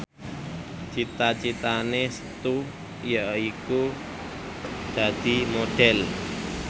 cita citane Setu yaiku dadi Modhel